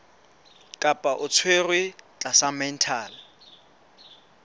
kapa o tshwerwe tlasa mental